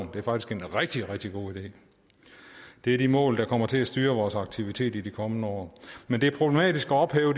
er faktisk en rigtig rigtig god idé det er de mål der kommer til at styre vores aktiviteter i de kommende år men det er problematisk at ophæve